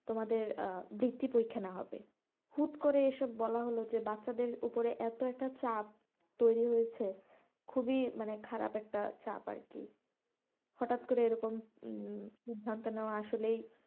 তোমাদের বৃত্তি পরীক্ষা নেওয়া হবে হুট করে এসব বলা হলো যে বাচ্চাদের উপরে এতো একটা চাপ তৈরী হয়েছে খুবই খারাপ একটা চাপ আরকি হঠাৎ করে এরকম উম সিদ্ধান্ত নেওয়া আসলেই,